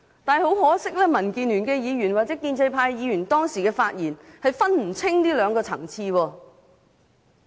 但是，很可惜，民建聯的議員或建制派議員當時的發言不能分清這兩個層次。